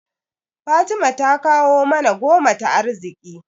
Fatima ta kawo mana goma ta arziƙi.